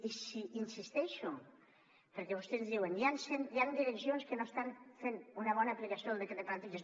i hi insisteixo perquè vostè ens diuen hi han direccions que no estan fent una bona aplicació del decret de plantilles